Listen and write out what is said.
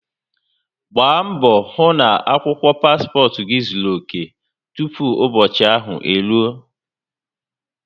Gbaa mbo hu na akwukwo paspot gi zuru oke tupu ubochi ahu eruo